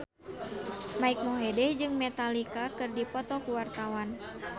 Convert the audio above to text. Mike Mohede jeung Metallica keur dipoto ku wartawan